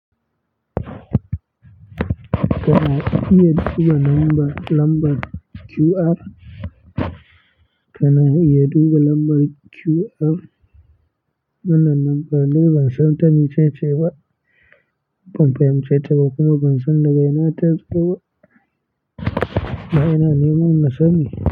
Kana iya duba lambar, lambar QR. Kana iya duba lambar QR. Wannan lambar dai ban san ta me ce ce ba. Ban fahimce ta ba kuma ban san daga ina ta zo ba. Na ina neman nasani.